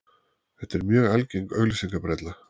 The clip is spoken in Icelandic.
Þetta er mjög algeng auglýsingabrella.